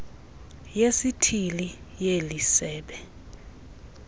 yesithili yeli sebe